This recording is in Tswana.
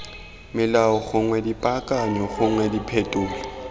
melao gongwe dipaakanyo gongwe diphetolo